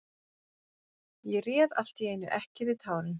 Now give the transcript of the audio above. Ég réð allt í einu ekki við tárin.